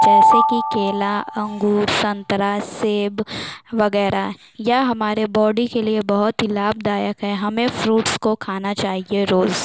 जैसे की केला अंगूर संतरा सेब वगेरह यह हमारे बॉडी के लिए बोहत ही लाभदायक है हमें फ्रूट्स को खाना चाहिए रोज।